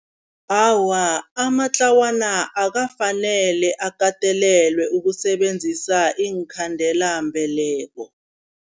Awa, amatlawana akwafanele akatelelwe ukusebenzisa iinkhandelambeleko.